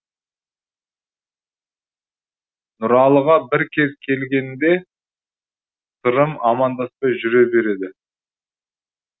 нұралыға бір кез келгенде сырым амандаспай жүре береді